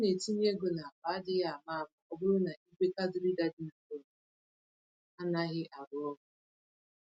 Ọ na-etinye égo n'akpa adịghị àmà-àmà ọbụrụ na ìgwè card reader dị na bọs anaghị arụ ọrụ.